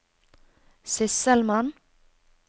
sysselmann